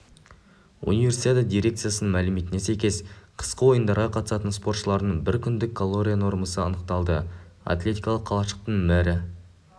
универсиада дирекцияның мәліметіне сәйкес қысқы ойындарға қатысатын спортшылардың бір күндік калория нормасы анықталды атлетикалық қалашықтың мэрі